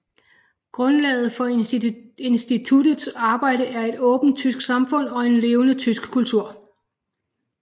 Grundlaget for instituttets arbejde er et åbent tysk samfund og en levende tysk kultur